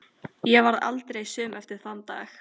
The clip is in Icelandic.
Ég varð aldrei söm eftir þann dag.